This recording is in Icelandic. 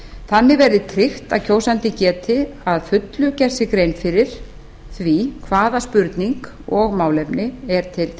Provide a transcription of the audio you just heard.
þannig verði tryggt að kjósandi geti að fullu gert sér grein fyrir því hvaða spurning og málefni er til